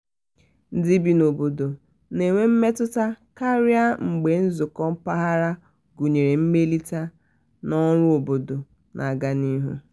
ndị bi n'obodo na-enwe mmetụta karịa mgbe nzụkọ mpaghara gụnyere mmelite na ọrụ obodo na-aga n'ihu.